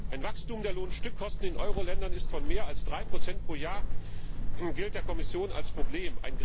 Ein Wachstum der Lohnstückkosten in den Euro Ländern von mehr als 3 pro Jahr gilt der Kommission als Problem.